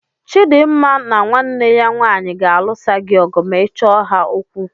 Chidimma na nwanne ya nwaanyị ga-alụsa gị ọgụ ma ị chọọ ha okwu.